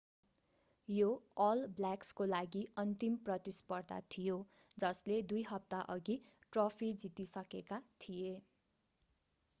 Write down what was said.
यो अल ब्ल्याक्सको लागि अन्तिम प्रतिस्पर्धा थियो जसले दुई हप्ताअघि ट्रफी जितिसकेका थिए